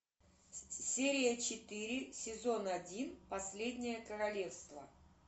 серия четыре сезон один последнее королевство